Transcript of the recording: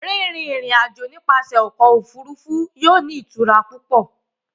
Rinrin irin-ajo nipasẹ ọkọ ofurufu yóò ni itura pupọ